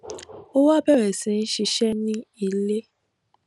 ó wá bèrè sí í ṣiṣé ní ilé